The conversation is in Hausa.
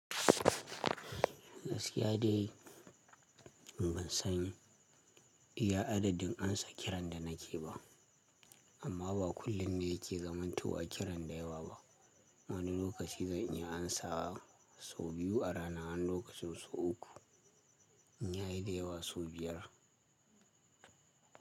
Gaskiya dai ban san iya adadin amsa kiran da nake yi ba, amma ba kullum ne yake zamantowa kiran da yawa ba. Wani lokaci zan iya amsa sau biyu a ranar, wani lokaci sau uku, in ya yi dayawa sau biyar.